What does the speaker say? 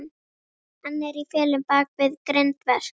Hann er í felum bak við grindverk.